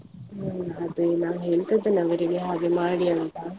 ಹ್ಮ್ ಅದೇ ನಾನ್ ಹೇಳ್ತಿದ್ದೇನೆ ಅವರಿಗೆ ಹಾಗೆ ಮಾಡಿ ಅಂತ.